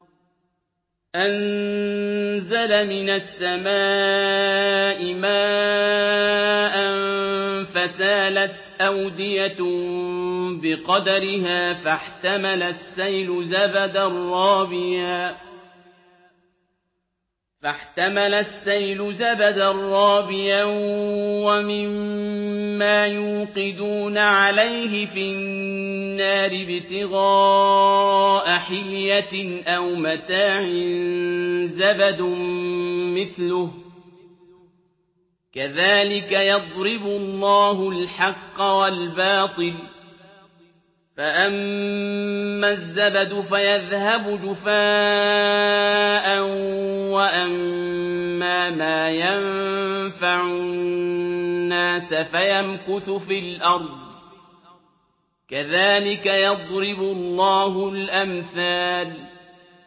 أَنزَلَ مِنَ السَّمَاءِ مَاءً فَسَالَتْ أَوْدِيَةٌ بِقَدَرِهَا فَاحْتَمَلَ السَّيْلُ زَبَدًا رَّابِيًا ۚ وَمِمَّا يُوقِدُونَ عَلَيْهِ فِي النَّارِ ابْتِغَاءَ حِلْيَةٍ أَوْ مَتَاعٍ زَبَدٌ مِّثْلُهُ ۚ كَذَٰلِكَ يَضْرِبُ اللَّهُ الْحَقَّ وَالْبَاطِلَ ۚ فَأَمَّا الزَّبَدُ فَيَذْهَبُ جُفَاءً ۖ وَأَمَّا مَا يَنفَعُ النَّاسَ فَيَمْكُثُ فِي الْأَرْضِ ۚ كَذَٰلِكَ يَضْرِبُ اللَّهُ الْأَمْثَالَ